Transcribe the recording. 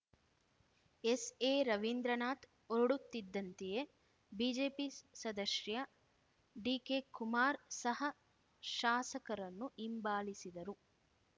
S A Ravindranath ಹೊರಡುತ್ತಿದ್ದಂತೆಯೇ BJP ಸದಸ್ಯ ಡಿಕೆಕುಮಾರ್ ಸಹ ಶಾಸಕರನ್ನು ಹಿಂಬಾಲಿಸಿದರು